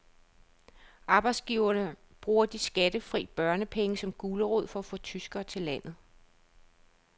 Arbejdsgiverne bruger de skattefri børnepenge som gulerod for at få tyskere til landet.